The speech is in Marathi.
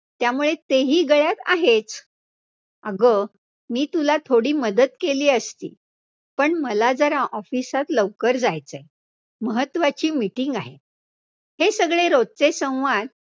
त्यामुळे ते ही गळ्यात आहेच, अगं, मी तुला थोडी मदत केली असती, पण मला जरा office त लवकर जायचंय, महत्वाची meeting आहे, हे सगळे रोजचे संवाद